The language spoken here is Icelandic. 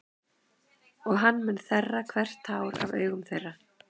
Og hann mun þerra hvert tár af augum þeirra.